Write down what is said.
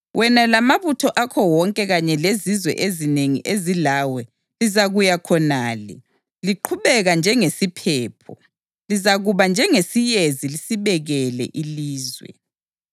Wena lamabutho akho wonke kanye lezizwe ezinengi ezilawe lizakuya khonale, liqhubeka njengesiphepho; lizakuba njengeyezi lisibekele ilizwe.